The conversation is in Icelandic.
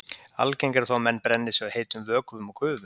Algengara er þó að menn brenni sig á heitum vökvum og gufu.